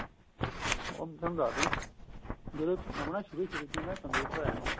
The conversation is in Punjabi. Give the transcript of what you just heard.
ਓ ਮੈਂ ਤੁਹਾਨੂੰ ਦੱਸ ਦਿੰਨਾ ਜਦੋਂ ਨਵਾਂ ਸ਼ੁਰੂ ਸ਼ੁਰੂ ਚ computer ਆਇਆਂ ਨਾ